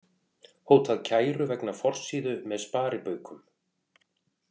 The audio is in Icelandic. Hótað kæru vegna forsíðu með sparibaukum